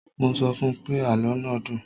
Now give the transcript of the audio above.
Mo sọ fún pé, àlọ́ náà dùn.